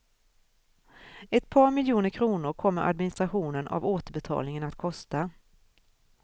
Ett par miljoner kronor kommer administrationen av återbetalningen att kosta.